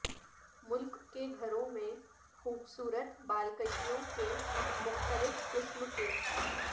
ملک کے گھروں میں خوبصورت بالکشیوں کے مختلف قسم کے